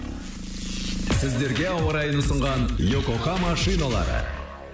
сіздерге ауа райын ұсынған йокогама шиналары